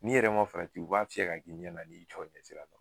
N'i yɛrɛ ma fana u b'a fiyɛ ka k'i ɲɛ na, i jɔlen sira la.